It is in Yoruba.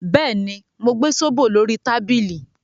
Bẹ́ẹ̀ ni, mo gbẹ zobo lórí tábìlì